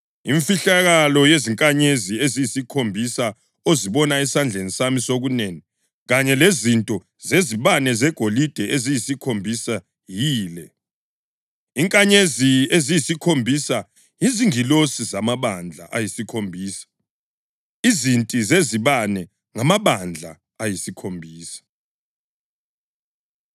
Imfihlakalo yezinkanyezi eziyisikhombisa ozibone esandleni sami sokunene kanye lezinti zezibane zegolide eziyisikhombisa yile: Izinkanyezi eziyisikhombisa yizingilosi zamabandla ayisikhombisa, izinti zezibane ngamabandla ayisikhombisa.”